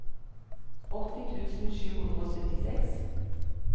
åtti tusen sju hundre og syttiseks